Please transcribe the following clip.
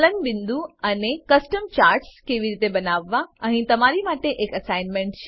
ગલન બિંદુ અને કસ્ટમ ચાર્ટ્સ કેવી રીતે બનાવવા અહીં તમારી માટે એક એસાઈનમેંટ છે